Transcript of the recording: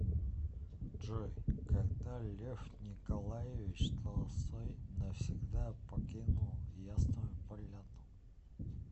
джой когда лев николаевич толстой навсегда покинул ясную поляну